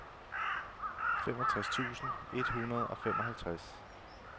femogtres tusind et hundrede og femoghalvtreds